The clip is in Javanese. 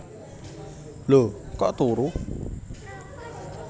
Lho kok turu